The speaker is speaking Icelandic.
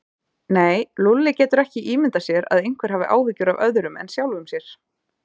Nei, Lúlli getur ekki ímyndað sér að einhver hafi áhyggjur af öðrum en sjálfum sér.